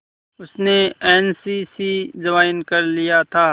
उसने N C C join कर लिया था